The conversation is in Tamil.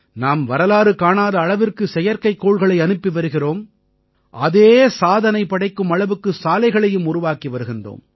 நாம் வரலாறு காணாத அளவிற்கு செயற்கைக்கோள்களை அனுப்பி வருகிறோம் அதே சாதனை படைக்கும் அளவுக்கு சாலைகளையும் உருவாக்கி வருகிறோம்